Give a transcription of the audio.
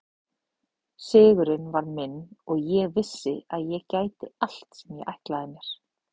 Sigurinn var minn og ég vissi að ég gæti allt sem ég ætlaði mér.